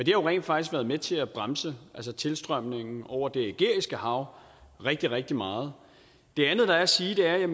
jo rent faktisk været med til at bremse tilstrømningen over det ægæiske hav rigtig rigtig meget det andet der er at sige er at vi